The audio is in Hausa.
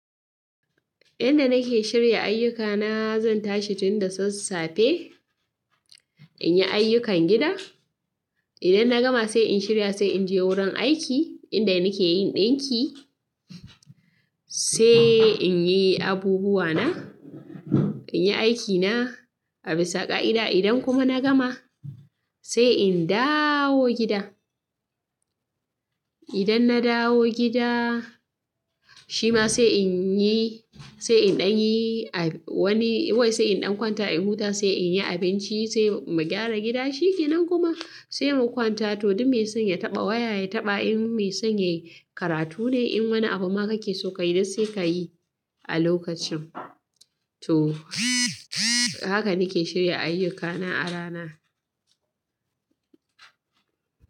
Yanda nake shirya ayyukana, zan tashi tunda sassafe inyi ayyukan gida. Idan na gama sai in shirya, sai inje wurin aiki inda nake yin ɗinki. Sai inyi abubuwana, inyi aikina. A bisa ƙa'ida idan kuma na gama sai in dawo gida. Idan na dawo gida shima sai inyi, sai in ɗan yi wani, wai sai in ɗan kwanta, in huta, sai inyi abinci, sai mu gyara gida shikenan kuma sai mu kwanta. To, duk mai san ya taɓa waya, ya taɓa in mai san yayi karatu ne. In wani abu ma kake so kayi dai sai kayi a lokacin. Toh haka nake shirya ayyukana a rana.